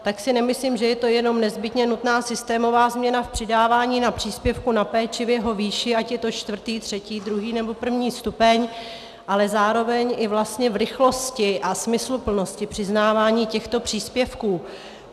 Tak si nemyslím, že je to jenom nezbytně nutná systémová změna v přidávání na příspěvku na péči v jeho výši, ať je to čtvrtý, třetí, druhý nebo první stupeň, ale zároveň i vlastně v rychlosti a smysluplnosti přiznávání těchto příspěvků.